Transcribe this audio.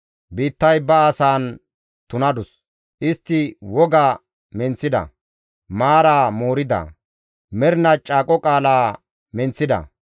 Biittay ba asaan tunadus; istti woga menththida; maaraa moorida; mernaa caaqo qaala menththida.